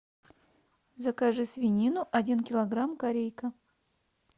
закажи свинину один килограмм корейка